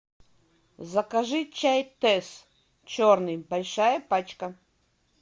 закажи чай тесс черный большая пачка